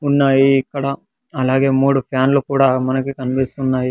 ఉన్నాయి ఇక్కడ అలాగే మూడు ఫ్యాన్లు కూడా మనకి కనిపిస్తున్నాయి.